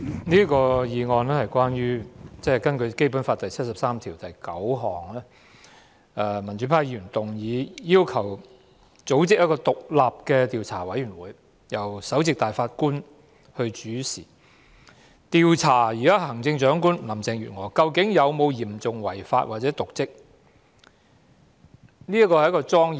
主席，民主派議員根據《基本法》第七十三條第九項動議這項議案，以組成一個由首席大法官主持的獨立調查委員會，調查行政長官林鄭月娥有否嚴重違法或瀆職行為的指控。